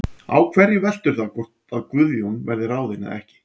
Á hverju veltur það hvort að Guðjón verði ráðinn eða ekki?